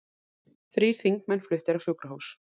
Þrír þingmenn fluttir á sjúkrahús